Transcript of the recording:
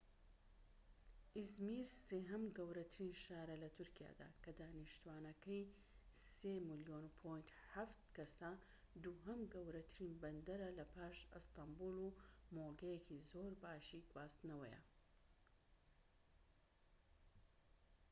ئیزمیر سێهەم گەورەترین شارە لە تورکیادا کە دانیشتوانەکەی ٣.٧ ملیۆن کەسە، دووهەم گەورەترین بەندەرە لە پاش ئەستەنبوڵ و مۆڵگەیەکی زۆرباشی گواستنەوەیە